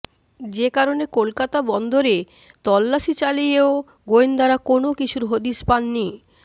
যে কারণে কলকাতার বন্দরে তল্লাশি চালিয়েও গোয়েন্দারা কোনও কিছুর হদিশ পাননি